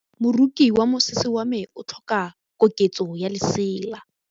Moroki wa mosese wa me o tlhoka koketsô ya lesela.